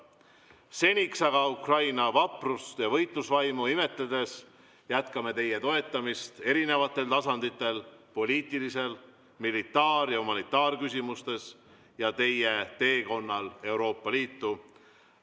Seniks aga Ukraina vaprust ja võitlusvaimu imetledes jätkame teie toetamist erinevatel tasanditel: poliitilistes, militaar- ja humanitaarküsimustes ja teie teekonnal Euroopa Liitu.